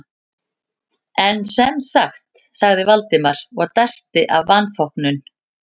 En sem sagt- sagði Valdimar og dæsti af vanþóknun.